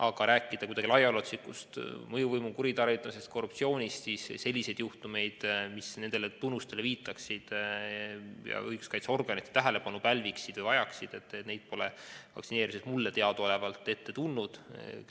Aga rääkida kuidagi laiaulatuslikust mõjuvõimu kuritarvitamisest, korruptsioonist – selliseid juhtumeid, mis nendele tunnustele viitaksid ja õiguskaitseorganite tähelepanu pälviksid või vajaksid, pole vaktsineerimise käigus mulle teadaolevalt ette tulnud.